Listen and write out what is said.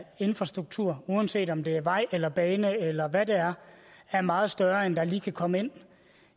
infrastruktur uanset om det er vej eller bane eller hvad det er er meget større end hvad der lige kan komme ind